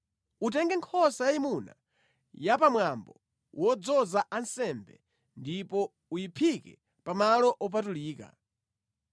“Utenge nkhosa yayimuna ya pamwambo wodzoza ansembe ndipo uyiphike pamalo opatulika.